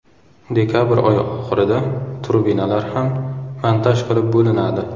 Dekabr oyi oxirida turbinalar ham montaj qilib bo‘linadi.